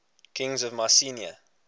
kings of mycenae